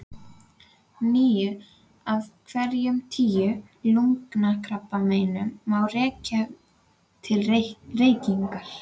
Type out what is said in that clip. Níu af hverjum tíu lungnakrabbameinum má rekja til reykinga.